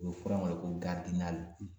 U bɛ fɔ in wele ko